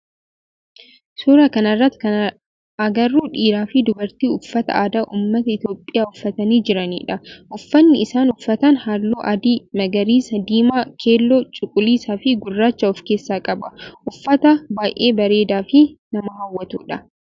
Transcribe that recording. Suuraa kana irratti kan agarru dhiiraa fi dubartii uffata aadaa ummata itiyoophiyaa uffatanii jiranidha. Uffanni isaan uffatan halluu adii, magariisa, diimaa, keelloo, cuquliisaa fi gurraacha of keesssa qaba. Uffata baayyee bareedaa fi nama hawwatudha.